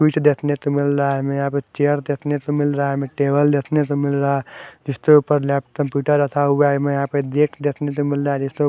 कुछ देखने को मिल रहा है हमें यहां चेयर देखने को मिल रहा हमे टेबल देखने को मिल रहा जिसके ऊपर लैप कंप्यूटर रखा हुआ है मैं यहां पे गेट देखने तो मिल रहा जिसको --